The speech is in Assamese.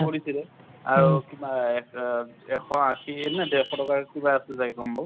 কৰিছিলে আৰু কিবা এ চ এশ আশী নে দেৰশ টকাৰ কিবা আছে চাগে সম্ভব